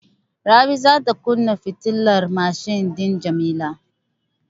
Rabi za ta kunna fitilar mashin din Jamila.